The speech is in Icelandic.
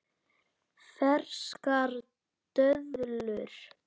Ferskar döðlur